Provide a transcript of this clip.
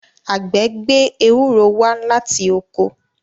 àgbẹ̀ gbé Ewúro wá láti oko.